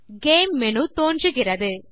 game menu தோன்றுகிறது